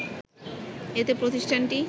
এতে প্রতিষ্ঠানটি